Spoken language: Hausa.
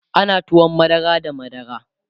ana tuwon madara da madara